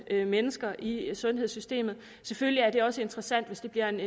mennesker i sundhedssystemet selvfølgelig er det også interessant hvis det bliver en